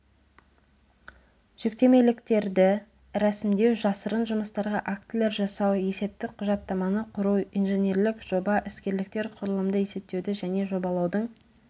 жүктемеліктерді рәсімдеу жасырын жұмыстарға актілер жасау есептік құжаттаманы құру инженерлік жоба іскерліктер құрылымды есептеуді және жобалаудың